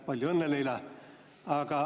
Palju õnne, Leila!